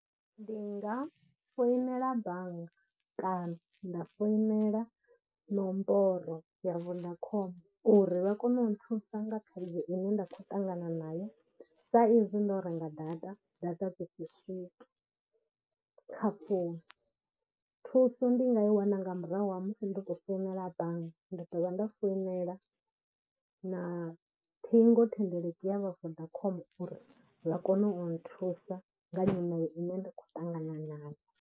Ndi nga foinela bannga kana nda foinela nomboro ya vhuḽa khombo uri vha kone u nthusa nga khaidzo ine nda khou ṱangana nayo sa izwi ndo renga data, data dzi si swike kha founu. Thuso ndi nga i wana nga murahu ha musi ndo tou founela bannga nda dovha nda foinela na ṱhingo thendeleki ya vha Vodacom uri vha kone u nthusa nga nyimele ine nda khou ṱangana nayo.